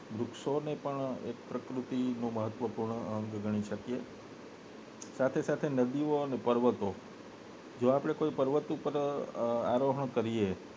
વૃક્ષો ને એક પ્રકૃતિ નો મહત્વ પૂર્ણ અંગ ગણી શકીએ સાથે સાથે નદીઓ અને પર્વતો આપને જો કોઈ પર્વત પર આરોહણ કરીએ